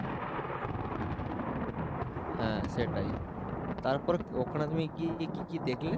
হ্যাঁ সেটাই তারপরে ওখানে তুমি গিয়ে কী কী দেখলে ?